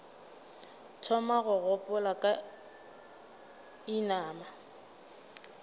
thoma go gopola ka inama